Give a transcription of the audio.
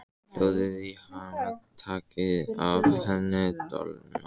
Hjólið í hana. takið af henni dolluna!